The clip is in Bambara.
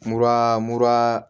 Mura mura